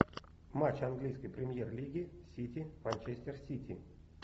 матч английской премьер лиги сити манчестер сити